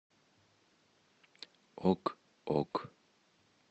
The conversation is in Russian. ок ок